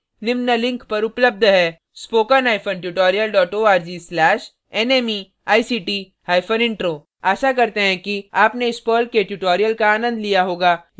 इस mission पर अधिक जानकारी निम्न लिंक पर उपलब्ध है